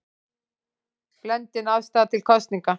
Blendin afstaða til kosninga